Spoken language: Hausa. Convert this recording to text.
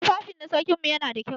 Tufafi na sarkin mu yana da kyau.